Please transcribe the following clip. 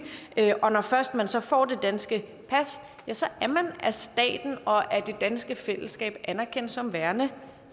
og når først man så får det danske pas er man af staten og det danske fællesskab anerkendt som værende